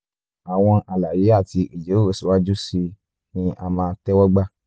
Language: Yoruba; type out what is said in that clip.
àwọn àlàyé àti ìjíròrò síwájú sí i ni a máa tẹ́wọ́ gbà